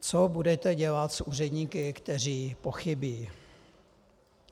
Co budete dělat s úředníky, kteří pochybí?